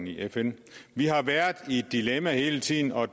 i fn vi har været i et dilemma hele tiden og